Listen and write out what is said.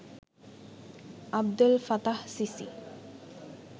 Abdel Fattah CC